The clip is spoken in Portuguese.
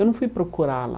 Eu não fui procurar lá.